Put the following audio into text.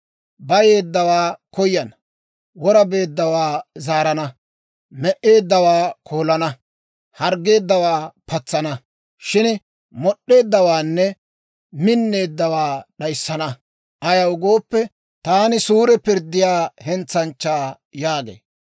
Bayeeddawaa koyana; wora beeddawaa zaarana; me"eeddawaa koolana; harggeeddawaakka patsana. Shin mod'd'eeddawaanne minneeddawaa d'ayissana; ayaw gooppe, taani suure pirddiyaa hentsanchchaa» yaagee.